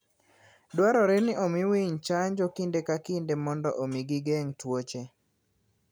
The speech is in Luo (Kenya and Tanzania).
Dwarore ni omi winy chanjo kinde ka kinde mondo omi gigeng' tuoche.